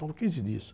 Faltam quinze dias.